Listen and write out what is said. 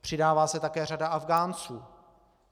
Přidává se také řada Afghánců.